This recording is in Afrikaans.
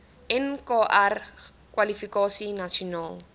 nkr kwalifikasie nasionaal